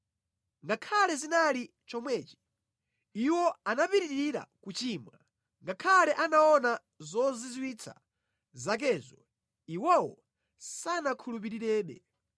Ngakhale zinali chomwechi, iwo anapitirira kuchimwa; ngakhale anaona zozizwitsa zakezo iwowo sanakhulupirirebe.